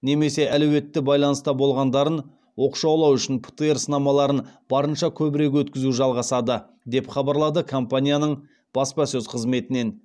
немесе әлеуетті байланыста болғандарын оқшаулау үшін птр сынамаларын барынша көбірек өткізу жалғасады деп хабарлады компанияның баспасөз қызметінен